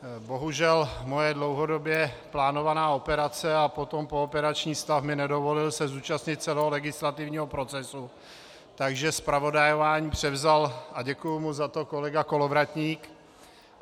Bohužel moje dlouhodobě plánovaná operace a potom pooperační stav mi nedovolil se zúčastnit celého legislativního procesu, takže zpravodajování převzal, a děkuji mu za to, kolega Kolovratník.